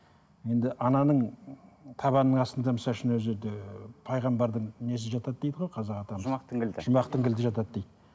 енді ананың табанының астында өзі де пайғамбардың несі жатады дейді ғой қазақ атамыз жұмақтың кілті жұмақтың кілті жатады дейді